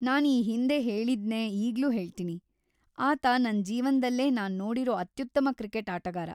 ನಾನ್ ಈ ಹಿಂದೆ ಹೇಳಿದ್ನೇ ಈಗ್ಲೂ ಹೇಳ್ತೀನಿ, ಆತ ನನ್ ಜೀವನ್ದಲ್ಲೇ ನಾನ್ ನೋಡಿರೋ ಅತ್ಯುತ್ತಮ ಕ್ರಿಕೆಟ್ ಆಟಗಾರ.